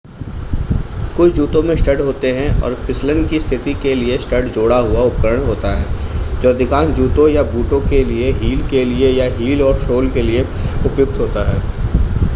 कुछ जूतों में स्टड होते हैं और फिसलन की स्थिति के लिए स्टड जोड़ा हुआ उपकरण होता है जो अधिकांश जूतों या बूटों के लिए हील के लिए या हील और सोल के लिए उपयुक्त होता है